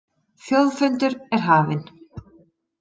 Þjóðfundur er hafinn